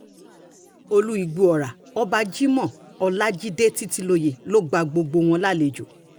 olú ìgbọ̀ọ́ra ọba jimo ọlajide títílóye ló gba gbogbo wọn lálejò